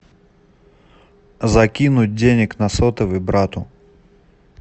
закинуть денег на сотовый брату